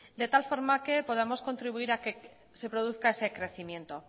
de tal forma que podamos contribuir a que se produzca ese crecimiento